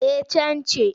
Eh can ci.